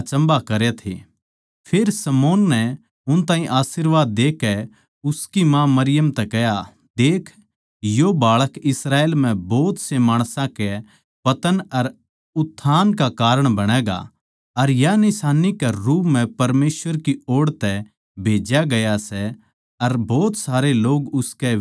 फेर शमौन नै उन ताहीं आशीर्वाद देकै उसकी माँ मरियम तै कह्या देख यो बाळक इस्राएल म्ह भोत से माणसां के पतन अर उत्थान का कारण बणैगा अर या निशान्नी के रूप म्ह परमेसवर की ओड़ तै भेज्या होया सै अर भोत सारे लोग उसका बिरोध करैंगें